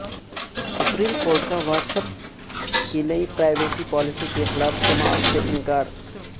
supreme court کا WhatsApp کی نئی پرائیویسی پالیسی کے خلاف سماعت سے انکار